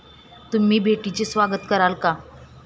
तुम्ही भेटीचे स्वागत कराल का?